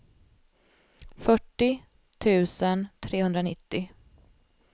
fyrtio tusen trehundranittio